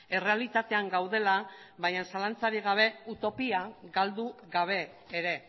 errealitatean gaudela baina zalantzarik gabe utopia galdu gabe ere